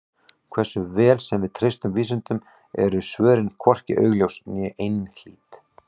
Hversu vel sem við treystum vísindunum eru svörin hvorki augljós né einhlít.